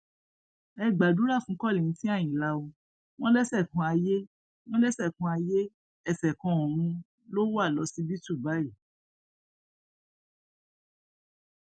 ẹ gbàdúrà fún kollington àyìnlá ó wọn lẹsẹkanayé wọn lẹsẹkanayé ẹsẹkanọrun ló wà lọsibítù báyìí